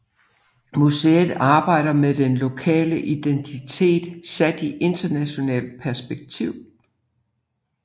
Museet arbejder med den helt lokale identitet sat i internationalt perspektiv